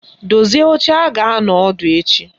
Dozie oche a ga-anọ ọdụ echi!